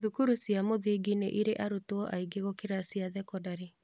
Thukuru cia mũthingi nĩ ĩrĩ arutwo aingĩ gũkĩra cia thekondarĩ.